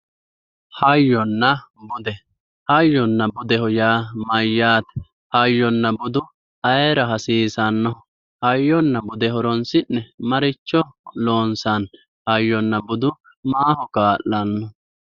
Hayyonna bude hayyona budeho yaa mayyaate? Hayonna budu ayeera hasiisaonn? Hayyonna bude horonsi'ne maricho loonsanni? Hayyonna budu ayeera kaa'lanno?